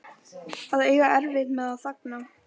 Að eiga erfitt með að þagna